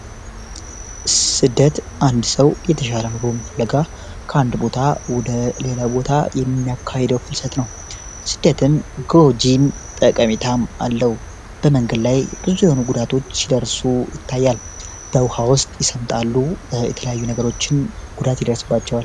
ስደት አንድ ሰው የተሻለ ኑሮ ፍለጋ ከአንድ ቦታ ወደ ሌላ ቦታ የሚያካሄደው ፍልሰት ነው ስደትም ጎጂን ጠቀሜታም አለው በመንገድ ላይ ብዙ የሆኑ ጉዳቶች ሲደርሱ ይታያል በውሃ ውስጥ ይሰምጣሉ የተለያዩ ነገሮችን ጉዳት ይደርስባቸዋል።